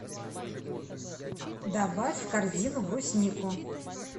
добавь в корзину бруснику